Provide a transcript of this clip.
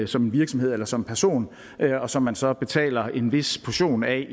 som virksomhed eller som person og som man så betaler en vis portion af